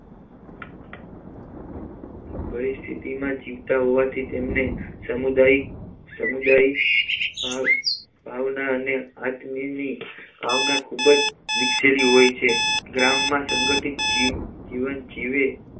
પરિસ્થિતિમાં જીવતા હોવાથી તેમને સામુદાયિક સમુદાયી ભાવ ભાવના અને આત્મીય ની ભાવના ખૂબ જ વિકસેલી હોય છે ગ્રામમાં સંગઠિત જીવ જીવન જીવે